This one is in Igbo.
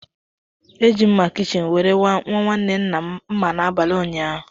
E ji mma kichin were nwa nwanne nna m mma n'abalị ụnyaahụ.